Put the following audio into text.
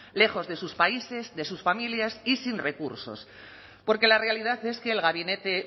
lejos de sus países de sus familias y sin recursos porque la realidad es que el gabinete